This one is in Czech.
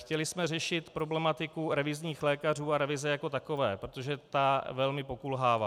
Chtěli jsme řešit problematiku revizních lékařů a revize jako takové, protože ta velmi pokulhává.